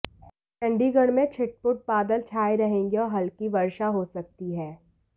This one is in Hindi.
चंडीगढ़ में छिटपुट बादल छाए रहेंगे और हल्की वर्षा हो सकती है